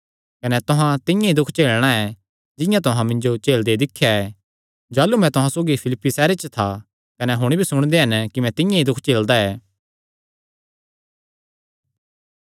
कने तुहां तिंआं ई दुख झेलणा ऐ जिंआं तुहां मिन्जो झेलदे दिख्या ऐ जाह़लू मैं तुहां सौगी फिलिप्पी सैहरे च था कने हुण भी सुणदे हन कि मैं तिंआं ई दुख झेलदा ऐ